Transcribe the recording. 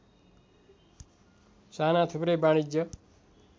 साना थुप्रै वाणिज्य